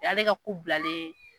Y'ale ka ko bilalen ye.